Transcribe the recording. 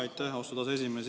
Aitäh, austatud esimees!